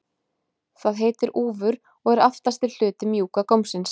Það heitir úfur og er aftasti hluti mjúka gómsins.